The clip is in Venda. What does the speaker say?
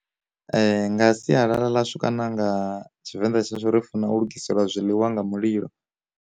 Nga sialala ḽa shu kana nga tshivenḓa tsha shu ri funa u lugiselwa zwiḽiwa nga mulilo.